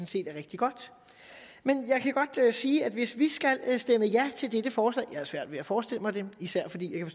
set er rigtig godt men jeg kan godt sige at hvis vi skal stemme ja til dette forslag jeg har svært ved at forestille mig det især fordi jeg